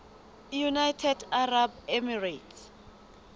united arab emirates